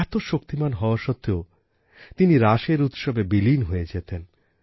এত শক্তিমান হওয়া সত্বেও তিনি রাসের উৎসবে বিলীন হয়ে যেতেন